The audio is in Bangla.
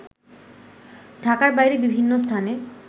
ঢাকার বাইরে বিভিন্ন স্থানে